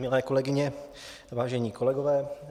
Milé kolegyně, vážení kolegové.